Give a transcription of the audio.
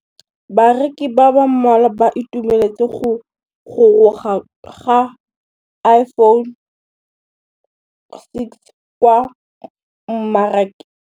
Bareki ba ba malwa ba ituemeletse go gôrôga ga Iphone6 kwa mmarakeng.